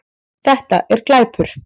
Þetta er glæpur